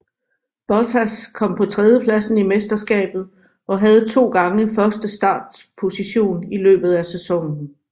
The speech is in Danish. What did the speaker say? Bottas kom på tredjepladsen i mesterskabet og havde to gange første startposition i løbet af sæsonen